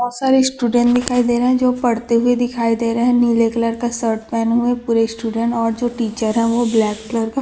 बहुत सारे स्टूडेंट दिखाई दे रहे है जो पढ़ते हुए दिखाई दे रहे है नीले कलर का शर्ट पहने हुए पूरे स्टूडेंट और जो टीचर है वो ब्लैक कलर का --